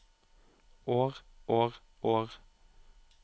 år år år